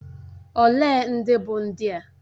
Olee ndị bụ ndị a?